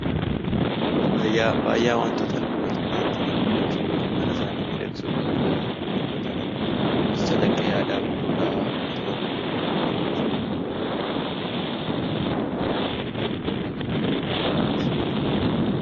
Faayaan wantoota namoonni of midhagsuuf yookiin mana isaanii miidhagsuuf bakka garaa garaatti godhatanidha. Kunis calaqqee aadaa fi duudhaa uummata tokkoo yookiin saba tokkoo ta'uu ni danda'a.